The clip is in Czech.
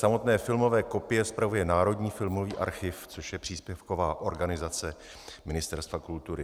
Samotné filmové kopie spravuje Národní filmový archiv, což je příspěvková organizace Ministerstva kultury.